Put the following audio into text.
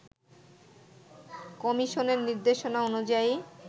কমিশনের নিদের্শনা অনুযায়ী